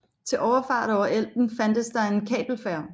Til overfart over Elben fandtes der en kabelfærge